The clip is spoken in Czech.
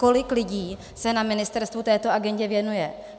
Kolik lidí se na ministerstvu této agendě věnuje?